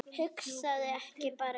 Hugsaðu ekki meira um það.